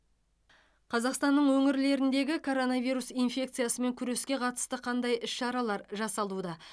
қазақстанның өңірлеріндегі коронавирус инфекциясымен күреске қатысты қандай іс шаралар жасалуда